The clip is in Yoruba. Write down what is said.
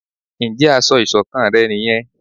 Njé aṣọ iṣọ̀kan rẹ ní yén?